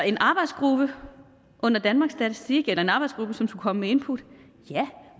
en arbejdsgruppe under danmarks statistik eller en arbejdsgruppe som skulle komme med input ja